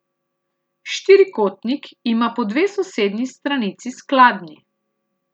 Štirikotnik ima po dve sosednji stranici skladni.